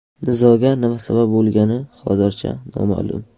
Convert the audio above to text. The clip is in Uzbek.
Nizoga nima sabab bo‘lgani hozircha noma’lum.